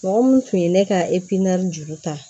Mɔgɔ mun tun ye ne ka juru ta